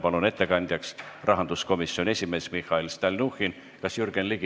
Palun ettekandeks kõnetooli rahanduskomisjoni esimehe Mihhail Stalnuhhini!